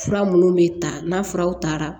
Fura minnu bɛ ta n'a furaw taara